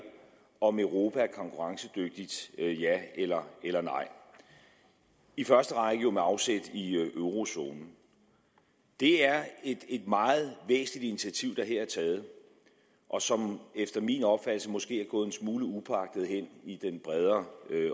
om europa er konkurrencedygtigt eller ej i første række jo med afsæt i eurozonen det er et meget væsentligt initiativ der her er taget og som efter min opfattelse måske er gået en smule upåagtet hen i den bredere